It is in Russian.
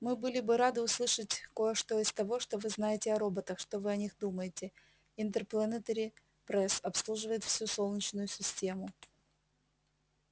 мы были бы рады услышать кое что из того что вы знаете о роботах что вы о них думаете интерплэнетери пресс обслуживает всю солнечную систему